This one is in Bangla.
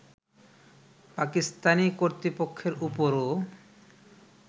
পাকিস্তানি কর্তৃপক্ষের ওপরও